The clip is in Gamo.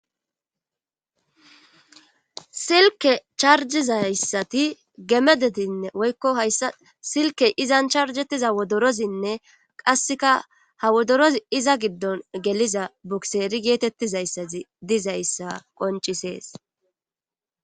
silke charjizayssati gemedetinne woykko hayssa silkey izan charjettiza wodorozinne qasseka ha wodoroz iza giddon geliza bukseeri geetettizayssati dizayssa qoncisees